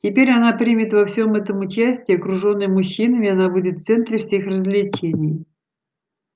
теперь она примет во всём этом участие окружённая мужчинами она будет в центре всех развлечений